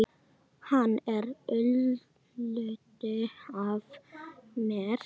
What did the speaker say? Hann er hluti af mér.